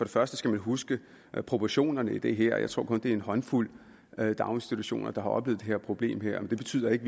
første skal man huske proportionerne i det her jeg tror kun at det er en håndfuld daginstitutioner der har oplevet det her problem det betyder ikke